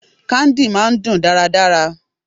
Candy máà ń dùn dáradára.